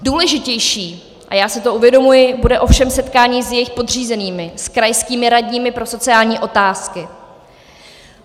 Důležitější, a já si to uvědomuji, bude ovšem setkání s jejich podřízenými, s krajskými radními pro sociální otázky.